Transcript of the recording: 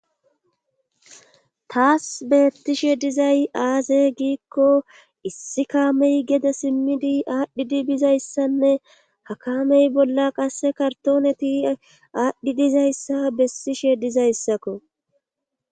taas beettishe dizay aaze giikko issi kaamey geda simmidi aadhdhidi bizayssanne hakaamey bolla qasse kartooneti aadhdhi dizayssa bessishe dizayssakko